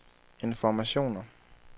informationer